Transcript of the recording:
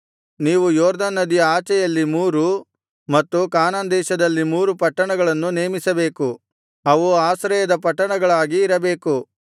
ನೀವು ಯೊರ್ದನ್ ನದಿಯ ಆಚೆಯಲ್ಲಿ ಮೂರು ಮತ್ತು ಕಾನಾನ್ ದೇಶದಲ್ಲಿ ಮೂರು ಪಟ್ಟಣಗಳನ್ನು ನೇಮಿಸಬೇಕು ಅವು ಆಶ್ರಯದ ಪಟ್ಟಣಗಳಾಗಿ ಇರಬೇಕು